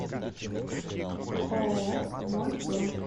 ооо мой дом